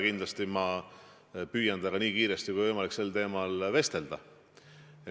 Kindlasti püüan ma temaga nii kiiresti kui võimalik sel teemal vestelda.